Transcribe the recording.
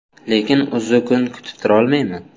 Lekin uzzukun kutib turolmayman.